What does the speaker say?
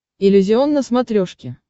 иллюзион на смотрешке